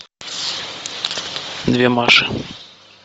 две маши